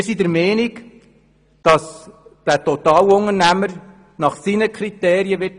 Wir sind der Meinung, dass der Totalunternehmer das Haus nach seinen Kriterien bauen wird.